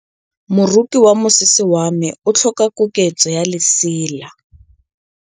Moroki wa mosese wa me o tlhoka koketsô ya lesela.